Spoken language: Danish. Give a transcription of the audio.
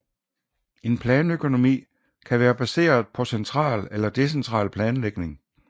En planøkonomi kan være baseret på central eller decentral planlægning